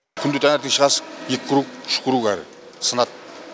күнде таңертең шығасың екі круг үш круг әрі сынады